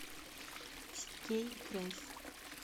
сергей грейс